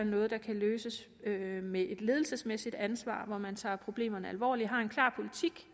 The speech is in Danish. noget der kan løses med et ledelsesmæssigt ansvar hvor man tager problemerne alvorligt og har en klar politik